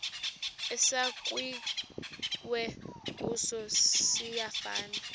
esakhiwe kuso siyafana